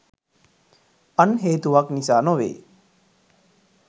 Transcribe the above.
අන් හේතුවක් නිසා නොවේ